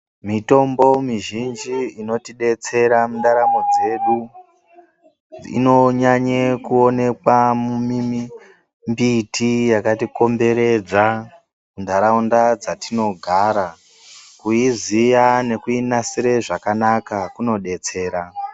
Mitombo mizhinji inotidetsera mundaramo dzedu inonyanye kuonekwa mumimbiti yakatikomberedza muntaraunda dzatinogara, kuiziya nekuinasire zvakanaka kunodetsera.